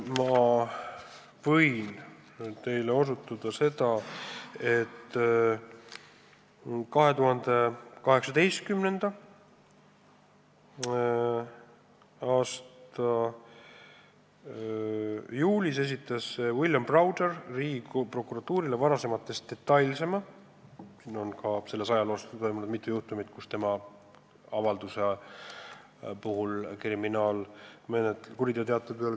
Ma osutan nüüd sellele, et 2018. aasta juulis esitas William Browder Riigiprokuratuurile varasematest detailsema kuriteoteate võimaliku rahapesu kohta Danske panga Eesti filiaalis.